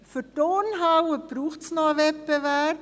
Für die Turnhalle braucht es noch einen Wettbewerb.